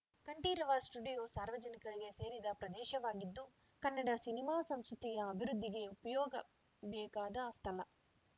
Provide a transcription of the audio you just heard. Kanteerava studio ಸಾರ್ವಜನಿಕರಿಗೆ ಸೇರಿದ ಪ್ರದೇಶವಾಗಿದ್ದು ಕನ್ನಡ ಸಿನಿಮಾ ಸಂಸ್ಕೃತಿಯ ಅಭಿವೃದ್ಧಿಗೆ ವಿಯೋಗಬೇಕಾದ ಸ್ಥಳ